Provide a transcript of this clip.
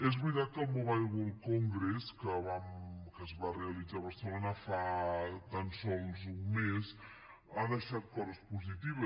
és veritat que el mobile world congress que es va rea litzar a barcelona fa tan sols un mes ha deixat coses positives